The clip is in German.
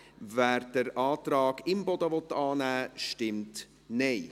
wer den Antrag Imboden annehmen will, stimmt Nein.